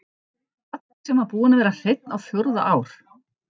Baddi sem búinn var að vera hreinn á fjórða ár.